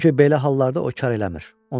Çünki belə hallarda o kar eləmir.